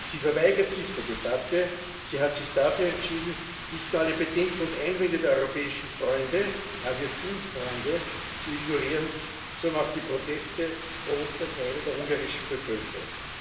Sie verweigert sich der Debatte, sie hat sich dafür entschieden, nicht nur alle Bedenken und Einwände der europäischen Freunde ja, wir sind Freunde zu ignorieren, sondern auch die Proteste großer Teile der ungarischen Bevölkerung.